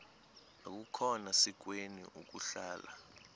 akukhona sikweni ukuhlala